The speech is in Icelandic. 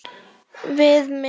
Við með.